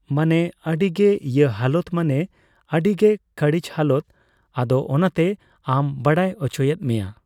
ᱢᱟᱱᱮ ᱟᱹᱰᱤ ᱜᱮ ᱤᱭᱟᱹ ᱦᱟᱞᱚᱛ ᱢᱟᱱᱮ ᱟᱹᱰᱤᱜᱮ ᱠᱟᱲᱤᱪ ᱦᱟᱞᱚᱛ ᱟᱫᱚ ᱚᱱᱟᱛᱮ ᱟᱢ ᱵᱟᱲᱟᱭ ᱚᱪᱚᱭᱮᱫ ᱢᱮᱭᱟ ᱾